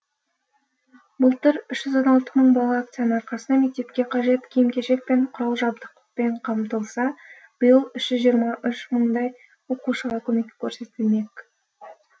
былтыр үш жүз он алты мың бала акцияның арқасында мектепке қажет киім кешек пен құрал жабдықпен қамтылса биыл үш жүз жиырма үш мыңдай оқушыға көмек көрсетілмек